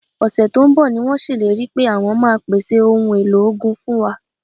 Ọ̀sẹ̀ tó ń bọ̀ ni wọ́n ṣèlérí pé àwọn máa pèsè ohun èlò ogun fún wa